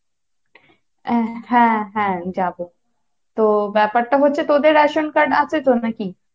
আহ হ্যা হ্যা যাবো, তো ব্যাপারটা হচ্ছে তোদের রেশন card আছে তো নাকি?